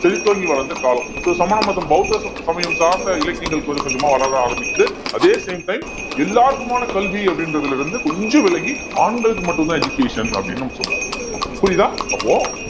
செழித்தோங்கி வளர்ந்த காலம் so சமண மதம் பௌத்த சமயம் சார்ந்த இலக்கியங்கள் கொஞ்சம் கொஞ்சமா வளர ஆரம்பிக்குது அதே same time எல்லாருக்குமான கல்வி அப்படின்றதுல இருந்து கொஞ்சம் விலகி ஆண்களுக்கு மட்டும்தான் education அப்படின்னு நம்ம சொல்ல ஆரம்பிக்கிறோம் புரியுதா அப்போ